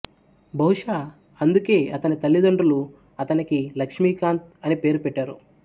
బహుశా అందుకే అతని తల్లిదండ్రులు అతనికి లక్ష్మీకాంత్ అని పేరు పెట్టారు